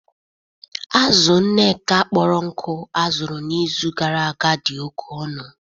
Azụ Nneka kpọrọ nkụ azụrụ n’izu gara aga dị oke ọnụ